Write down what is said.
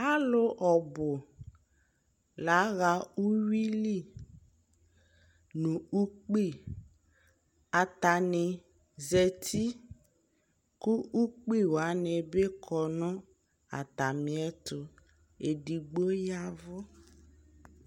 Alʋ ɔbʋ laɣa uwuili nʋ ukpi Atani zati kʋ ukpi wani bi kɔ nʋ atami ɛtʋ, ɛdigbo yavʋ